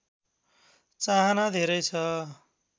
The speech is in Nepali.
चाहना धेरै छ